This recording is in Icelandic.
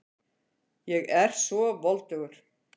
Ég er svo voldugur.